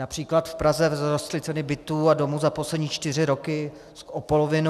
Například v Praze vzrostly ceny bytů a domů za poslední čtyři roky o polovinu.